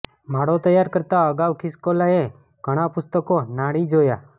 માળો તૈયાર કરતાં અગાઉ ખિસકોલાંએ ઘણાં પુસ્તકો નાણી જોયાં